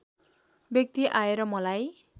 व्यक्ति आएर मलाई